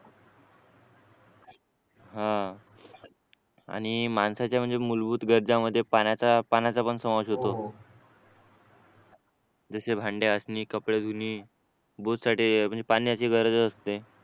हं आणि माणसाच्या म्हणजे मूलभूत गरजा मध्ये पाण्याचा पाण्याचा पण समावेश होतो जसे भांडे घासणे कपडे धुणे पाण्याची गरज असते